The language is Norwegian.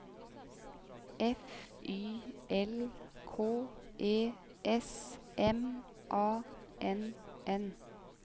F Y L K E S M A N N